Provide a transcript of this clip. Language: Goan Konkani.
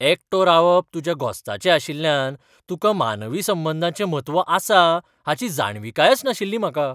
एकटो रावप तुज्या घोस्ताचें आशिल्ल्यान तुकां मानवी संबंदाचें म्हत्व आसा हाची जाणविकायच नाशिल्ली म्हाका.